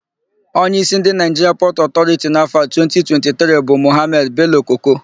Onyeísí ndị Naịjiria Pọtụ Ọtọriti n'áfọ̀ a 2023 bụ Mọhamedị Belo-Koko.